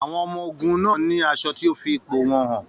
Àwọn ọmọ-ogun náà ní aṣọ tí ó fi ipò wọn hàn.